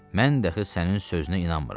mən də ki sənin sözünə inanmıram.